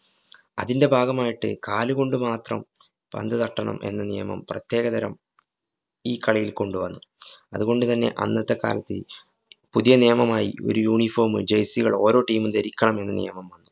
അതിന്‍ടെ ഭാഗമായിട്ട് കാലുകൊണ്ട് മാത്രം പന്ത് തട്ടണം എന്ന നിയമം പ്രത്യേകതരം ഈ കളിയില്‍ കൊണ്ടുവന്നു. അതുകൊണ്ടുതന്നെ അന്നത്തെ കാലത്ത്, പുതിയ നിയമമായി ഒരു uniform മ് jersey കളോ ഓരോ team ഉം ധരിക്കണമെന്ന് നിയമം വന്നു.